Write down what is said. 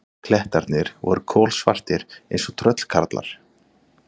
Klettarnir voru kolsvartir eins og tröllkarlar.